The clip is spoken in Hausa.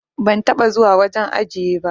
Ban taba zuwa wajen ajiye ba.